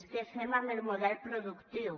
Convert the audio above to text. què fem amb el model productiu